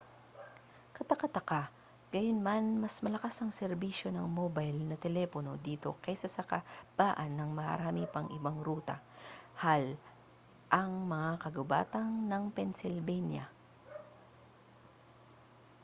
kataka-taka gayunman mas malakas ang serbisyo ng mobile na telepono dito kaysa sa kahabaan ng marami pang ibang ruta hal ang mga kagubatan ng pennsylvania